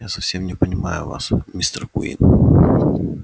я совсем не понимаю вас мистер куинн